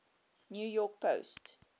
new york post